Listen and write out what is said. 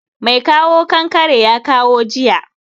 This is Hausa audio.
Mai kawo kankare ya kawo jiya